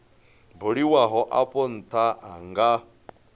buliwaho afho ntha a nga